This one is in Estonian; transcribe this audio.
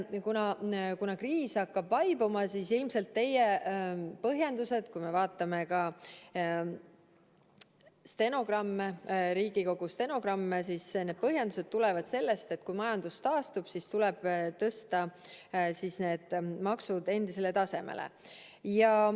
Kuna kriis hakkab vaibuma, siis ilmselt teie põhjendused tulenevad sellest lubadusest, mida näeb ka Riigikogu stenogrammidest, et kui majandus taastub, siis tuleb tõsta need maksud endisele tasemele.